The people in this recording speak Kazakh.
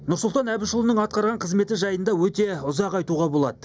нұрсұлтан әбішұлының атқарған қызметі жайында өте ұзақ айтуға болады